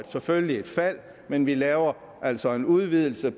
selvfølgelig et fald men vi laver altså en udvidelse